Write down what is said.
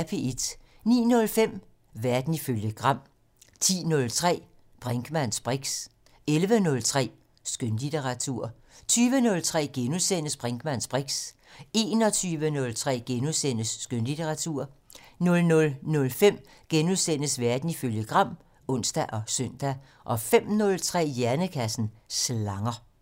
09:05: Verden ifølge Gram 10:03: Brinkmanns briks 11:03: Skønlitteratur 20:03: Brinkmanns briks * 21:03: Skønlitteratur * 00:05: Verden ifølge Gram *(ons og søn) 05:03: Hjernekassen: Slanger